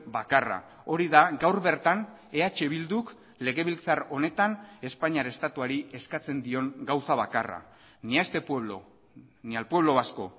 bakarra hori da gaur bertan eh bilduk legebiltzar honetan espainiar estatuari eskatzen dion gauza bakarra ni a este pueblo ni al pueblo vasco